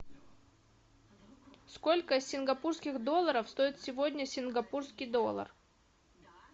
сколько сингапурских долларов стоит сегодня сингапурский доллар